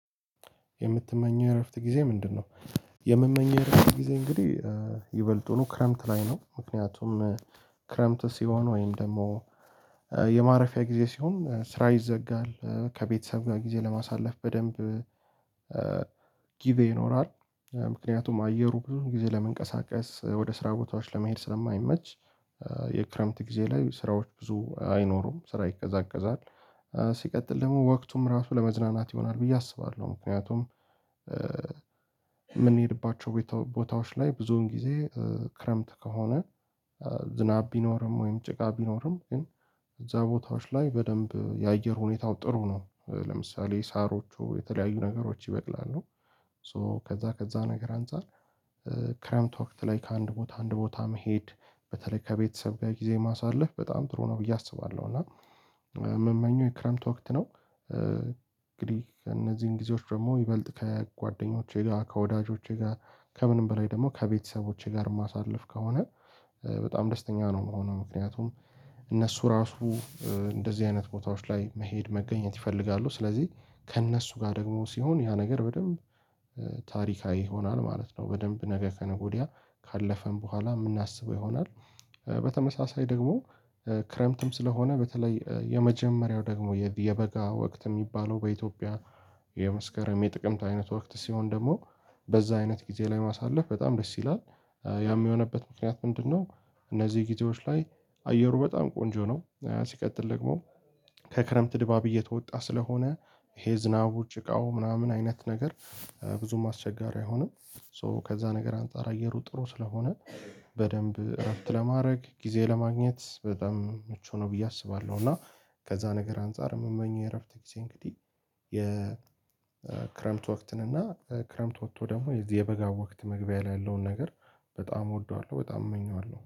የምትመኘው የእረፍት ጊዜ ምንድነው? የምመኘው የእረፍት ጊዜ እንግዲህ ይበልጡኑ ክረምት ላይ ነው። ምክንያቱም ክረምት ሲሆን ወይም ደግሞ የማረፊያ ጊዜ ሲሆን ስራ ይዘጋል ከቤተሰብ ጋር ጊዜ ለማሳለፍ በደንብ ጊዜ ይኖራል። ምክንያቱም አየሩ ብዙ ጊዜ ለመንቀሳቀስ ወደ ስራ ቦታዎች ለመሄድ ስለማይመች የክረምት ጊዜ ላይ ስራዎች ብዙ አይኖሩም ስራ ይቀዛቀዛል። ሲቀጥል ደግሞ ወቅቱም ራሱ ለመዝናናት ይሆናል ብዬ አስባለሁ ምክንያቱም የምንሄድባቸው ቦታዎች ላይ ብዙን ጊዜ ክረምት ከሆነ ዝናብ ቢኖርም ወይም ጭቃ ቢኖርም ግን እዛ ቦታዎች ላይ በደንብ የአየር ሁኔታው ጥሩ ነው ለምሳሌ ሳሮቹ የተለያዩ ነገሮች ይበቅላሉ። ሶ ከዛ ከዛ ነገር አንፃር ክረምት ወቅት ላይ ከአንድ ቦታ አንድ ቦታ መሄድ በተለይ ከቤተሰብ ጋር ጊዜ ማሳለፍ በጣም ጥሩ ነው ብዬ አስባለሁ። እና ምመኘኛ የክረምት ወቅት ነው እንግዲህ እነዚህን ጊዜዎች ደግሞ ይበልጥ ከጓደኞቼ ጋር ከወዳጆቼ ጋር ከምንም በላይ ደግሞ ከቤተሰቦቼ ጋር ማሳልፍ ከሆነ በጣም ደስተኛ ነው የምሆነው። ምክንያቱም እነሱ ራሱ እንደዚህ አይነት ቦታዎች ላይ መሄድ መገኘት ይፈልጋሉ ስለዚህ ከእነሱ ጋር ደግሞ ሲሆን ያ ነገር በደንብ ታሪካዊ ይሆናል ማለት ነው። በደንብ ነገ ከነገ ወዲያ ካለፍን በኋላ የምናስበው ይሆናል። በተመሳሳይ ደግሞ ክረምትም ስለሆነ በተለይ የመጀመሪያው ደግሞ የበጋ ወቅት የሚባለው በኢትዮጵያ የመስከረም የጥቅምት አይነት ወቅት ሲሆን ደግሞ በዛ አይነት ጊዜ ላይ ማሳለፍ በጣም ደስ ይላል። ያ የሚሆንበት ምክንያት ምንድነው? እነዚህ ጊዜዎች ላይ አየሩ በጣም ቆንጆ ነው። ሲቀጥል ደግሞ ከክረምት ድባብ እየተወጣ ስለሆነ ይሄ ዝናቡ ጭቃው ምናምን አይነት ነገር ብዙም አስቸጋሪ አይሆንም። ሶ ከዛ ነገር አንፃር አየሩ ጥሩ ስለሆነ በደንብ እረፍት ለማድረግ ጊዜ ለማግኘት በጣም ምቹ ነው ብዬ አስባለሁ። እና ከዛ ነገር አንፃር የምመኘው የእረፍት ጊዜ እንግዲህ የክረምት ወቅትን እና ክረምት ወጥቶ ደግሞ የዚህ የበጋ ወቅት መግቢያ ላይ ያለውን ነገር በጣም እወደዋለሁ። በጣም እመኘዋለሁ